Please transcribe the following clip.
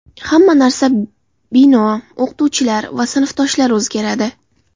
Hamma narsa bino, o‘qituvchilar va sinfdoshlar o‘zgaradi.